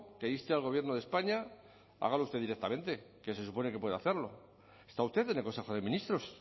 que inste al gobierno de españa hágalo usted directamente que se supone que puede hacerlo está usted en el consejo de ministros